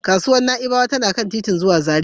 Kasuwar Na'ibawa tana kan titin zuwa Zaria.